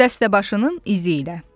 Dəstəbaşının izi ilə.